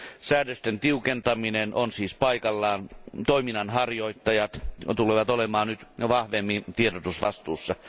Säädösten tiukentaminen on siis paikallaan. Toiminnan harjoittajat tulevat olemaan nyt vahvemmin tiedotusvastuussa.